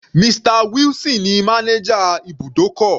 Mr wilson ní manager ibùdókọ̀.